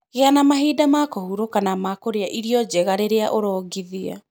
Gĩa na mahinda ma kũhurũka na ma kũrĩa irio njega rĩrĩa ũrongithia.